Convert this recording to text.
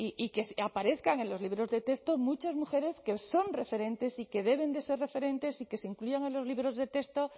y que aparezcan en los libros de texto muchas mujeres que son referentes y que deben de ser referentes y que se incluyan en los libros de texto